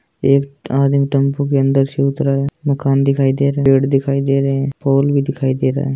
एक आदमी टेम्पो के अंदर से उतरा है मकान दिखाई दे पेड भी दिखाई दे रहे है हॉल भी दिखाई दे रहा है।